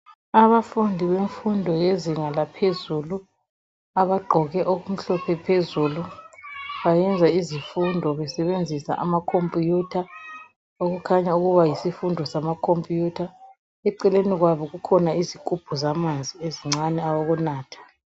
Abafundi bemfundo yezinga laphezulu abagqoke okumhlophe phezulu bayenza izifundo besebenzisa amakhompuyutha okukhanya ukuba yisifundo samakhompuyutha eceleni kwabo kukhona izigubhu zamanzi ezincane awokunatha .